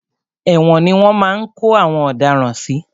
Ẹ̀wòn ni wọ́n máa ń kó àwọn ọ̀daràn sí.